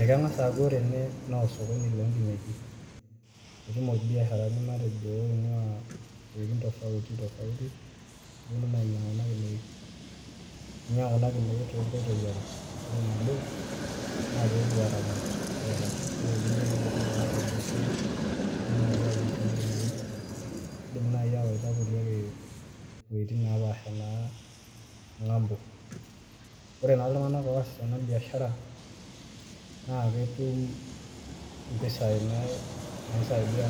Ekengas aaku wore ene naa osokoni loonkinejik. Ketumo ilbiasharani matejo oingua iwejitin tofauti tofauti. Neponu naa ainyiangu kuna kinejik. Inyiangu kuna kinejik toonkoitoi are, wore nabo, naa pee epuo aaramat kulikai. Wore eniare nepuo irkulikae te biashara, nepoi naai aayieng kuna kinejik. Iindim naai aawaita kulie naapaasha naa ngambo. Wore naa iltunganak oosita ena biashara, naa ketum impisai naisaidia